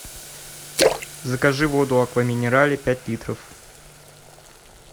закажи воду аква минерале пять литров